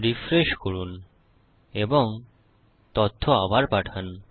refresh করুন এবং তথ্য আবার পাঠান